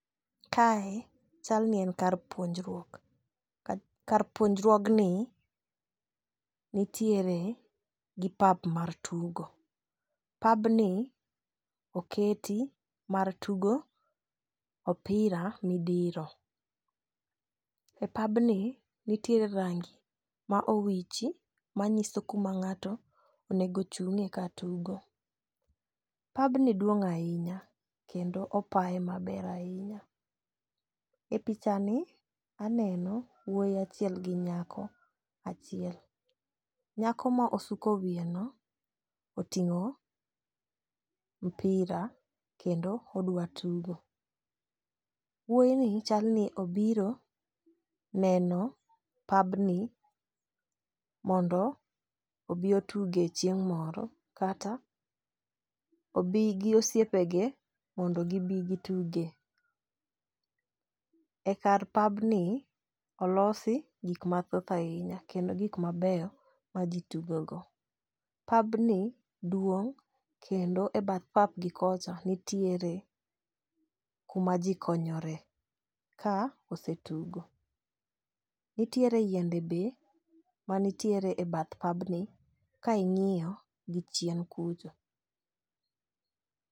Kae chal ni en kar puonjruok. Kar puonjruogni nitiere gi pap mar tugo. Pabni oketi mar tugo opira midiro. E pabni nitiere rangi ma owichi manyiso kama ng'ato onego chung'e ka tugo . Pabni duong' ahinya kendo opaye maber ahinya . E picha ni aneno wuoyi achiel gi nyako achiel. Nyako ma osuko wiye no oting'o mpira kendo odwa tugo. Wuoyi ni chal ni obiro neno pabni mondo obi otuge chieng' moro kata obi gi osiepe ge mondo gibi gituge. E kar pabni olosi gik mathoth ahinya kendo gik mabeyo ma gitugo go. Pabni duong' kendo e bath pap gi kocha nitiere kuma jii konyore ka osetugo. Nitiere yiende be manitiere e bath pabni ka ing'iyo gi chien kucho.